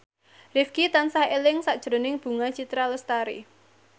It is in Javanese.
Rifqi tansah eling sakjroning Bunga Citra Lestari